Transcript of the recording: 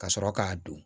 Ka sɔrɔ k'a don